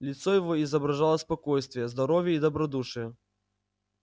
лицо его изображало спокойствие здоровье и добродушие